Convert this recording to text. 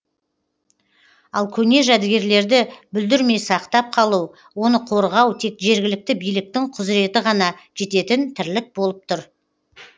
ал көне жәдігерлерді бүлдірмей сақтап қалу оны қорғау тек жергілікті биліктің құзыреті ғана жететін тірлік болып тұр